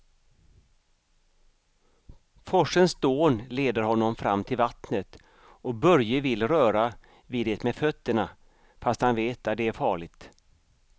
Forsens dån leder honom fram till vattnet och Börje vill röra vid det med fötterna, fast han vet att det är farligt.